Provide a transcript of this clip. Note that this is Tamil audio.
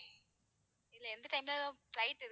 எந்த time ல flight இருக்குதுன்னு